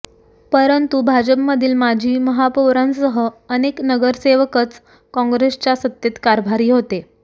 परंतु भाजपमधील माजी महापौरांसह अनेक नगरसेवकच काँग्रेसच्या सत्तेत कारभारी होते